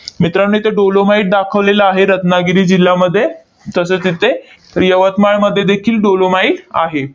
मित्रांनो, इथे dolomite दाखवलेलं आहे रत्नागिरी जिल्ह्यामध्ये. तसेच इथे यवतमाळमध्ये देखील dolomite आहे.